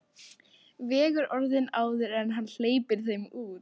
Vegur orðin áður en hann hleypir þeim út.